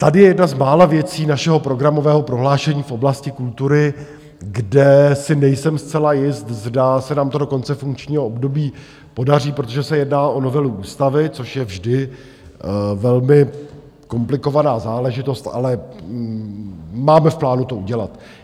Tady je jedna z mála věcí našeho programového prohlášení v oblasti kultury, kde si nejsem zcela jist, zda se nám to do konce funkčního období podaří, protože se jedná o novelu ústavy, což je vždy velmi komplikovaná záležitost, ale máme v plánu to udělat.